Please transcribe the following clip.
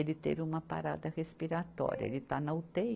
Ele teve uma parada respiratória, ele está na utêi.